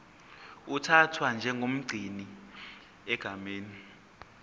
uthathwa njengomgcini egameni